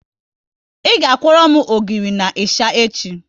Ị ga kworo m ogiri na ịsha echi